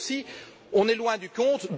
Et là aussi, on est loin du compte.